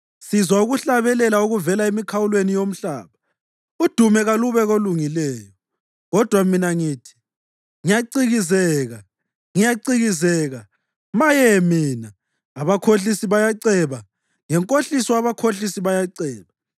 Sizwa ukuhlabelela okuvela emikhawulweni yomhlaba: “Udumo kalube koLungileyo.” Kodwa mina ngathi, “Ngiyacikizeka, ngiyacikizeka! Maye mina! Abakhohlisi bayaceba! Ngenkohliso abakhohlisi bayaceba!”